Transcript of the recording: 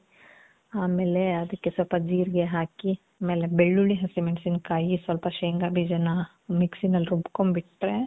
ಆಮೇಲೆ, ಅದಕ್ಕೆ ಸ್ವಲ್ಪ ಜೀರ್ಗೆ ಹಾಕಿ, ಆಮೇಲೆ ಬೆಳ್ಳುಳ್ಳಿ, ಹಸಿಮೆಣಸಿನಕಾಯಿ, ಸ್ವಲ್ಪ ಶೇಂಗ ಬೀಜನ್ನ ?????? ನಲ್ಲಿ ರುಬ್ಕೊಂಡ್ ಬಿಟ್ರೆ